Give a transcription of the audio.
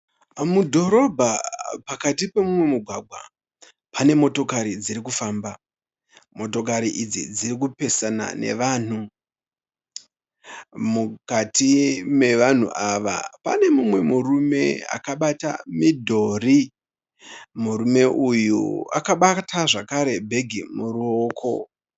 Mudhorobha pakati pemumwe mugwagwa. Pane motokari dziri kufamba. Motokari idzi dziri kupesana nevanhu. Mukati mevanhu ava pane mumwe murume akabata midhori. Murume uyu akabata zvakare bhegi muruoko.